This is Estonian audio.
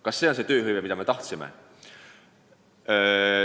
Kas säärast tööhõivet me olemegi tahtnud?